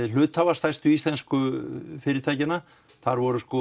hluthafa stærstu íslensku fyrirtækjanna þar voru